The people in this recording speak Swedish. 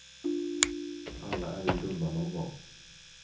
Alla är ju dumma nån gång.